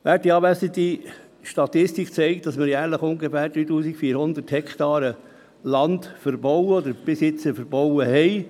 Werte Anwesende, die Statistik zeigt, dass wir jährlich ungefähr 3400 Hektaren Land verbauen oder bis jetzt verbaut haben.